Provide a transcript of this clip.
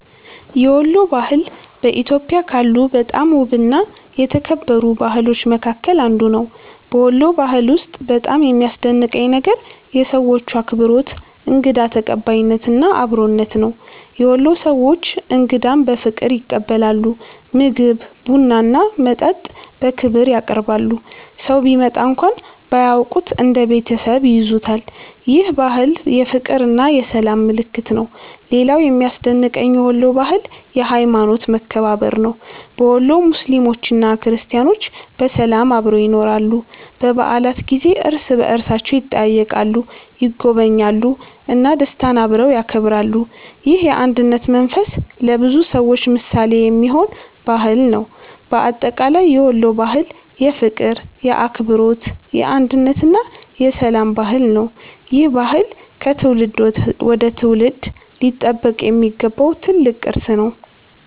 የወሎ ባህል በኢትዮጵያ ካሉ በጣም ውብና የተከበሩ ባህሎች መካከል አንዱ ነው። በወሎ ባህል ውስጥ በጣም የሚያስደንቀኝ ነገር የሰዎቹ አክብሮት፣ እንግዳ ተቀባይነት እና አብሮነት ነው። የወሎ ሰዎች እንግዳን በፍቅር ይቀበላሉ፤ ምግብ፣ ቡና እና መጠጥ በክብር ያቀርባሉ። ሰው ቢመጣ እንኳን ባያውቁት እንደ ቤተሰብ ይይዙታል። ይህ ባህል የፍቅርና የሰላም ምልክት ነው። ሌላው የሚያስደንቀኝ የወሎ ባህል የሀይማኖት መከባበር ነው። በወሎ ሙስሊሞችና ክርስቲያኖች በሰላም አብረው ይኖራሉ። በበዓላት ጊዜ እርስ በእርሳቸው ይጠያየቃሉ፣ ይጎበኛሉ እና ደስታን አብረው ያከብራሉ። ይህ የአንድነት መንፈስ ለብዙ ሰዎች ምሳሌ የሚሆን ባህል ነው። በአጠቃላይ የወሎ ባህል የፍቅር፣ የአክብሮት፣ የአንድነት እና የሰላም ባህል ነው። ይህ ባህል ከትውልድ ወደ ትውልድ ሊጠበቅ የሚገባው ትልቅ ቅርስ ነው።